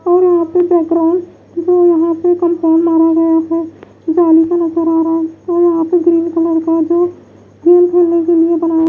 और यहाँ पे बैकग्राउंड जो यहाँ पे कंपाउंड मारा गया है जाली का नजर आ रहा है और यहाँ पे ग्रीन कलर का जो खेल खेलने के लिए बनाया --